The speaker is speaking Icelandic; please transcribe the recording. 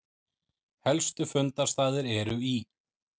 Helstu fundarstaðir eru í